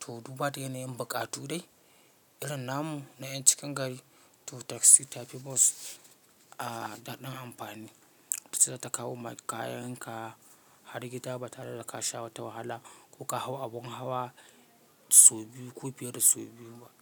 toh duba da yanayin buƙatu dai irin namu na ƴan cikin gari, toh taxi tafi bus ah ɗan amfani. Taxi zata kawo maka kayan ka har gida ba tare da ka sha wata wahala ko ka hau abun hawa sau biyu ko fiye da sau biyu ma.